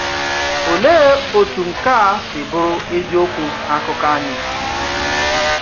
Olee otú nke a si bụrụ eziokwu n’akụkọ anyị!